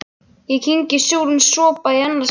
Ég kyngi súrum sopa í annað skipti.